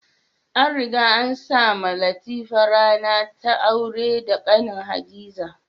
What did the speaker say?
An riga an sa mawa Latifa rana ta aura da kanin Hadiza.